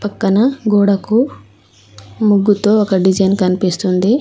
పక్కన గోడకు ముగ్గుతో ఒక డిజైన్ కనిపిస్తుంది.